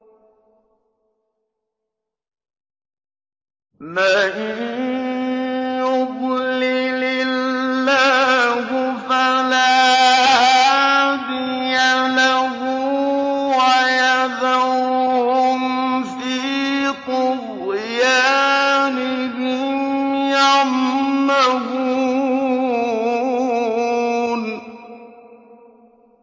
مَن يُضْلِلِ اللَّهُ فَلَا هَادِيَ لَهُ ۚ وَيَذَرُهُمْ فِي طُغْيَانِهِمْ يَعْمَهُونَ